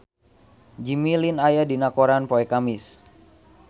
Jimmy Lin aya dina koran poe Kemis